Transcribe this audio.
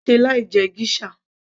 kò lè ṣe láì jẹ geisha